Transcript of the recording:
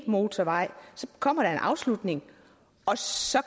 motorvej kommer der en afslutning og så